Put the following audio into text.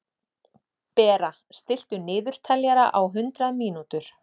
Bera, stilltu niðurteljara á hundrað mínútur.